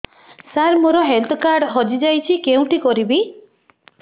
ସାର ମୋର health card ହଜି ଯାଇଛି କେଉଁଠି କରିବି